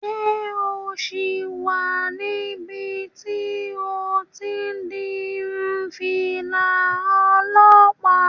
Ṣé o sì wà níbi tí o ti n di irun fìlà olọ́pàá?